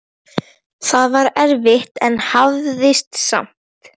Það var erfitt en hafðist samt.